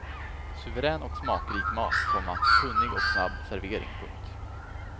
Suverän och smakrik mat, komma kunnig och snabb servering. punkt